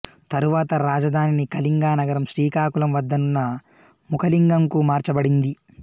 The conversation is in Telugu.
తరువాత రాజధానిని కళింగ నగరం శ్రీకాకుళం వద్దనున్న ముఖలింగం కు మార్చబడింది